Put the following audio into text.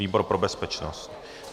Výbor pro bezpečnost.